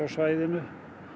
svæðinu